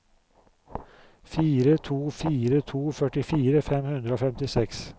fire to fire to førtifire fem hundre og femtiseks